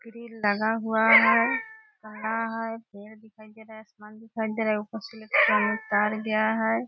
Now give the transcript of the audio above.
Grill लगा हुआ है है ताला है पेड़ दिखाई दे रहा है आसमान दिखाई दे रहा है ऊपर से तार गया है ।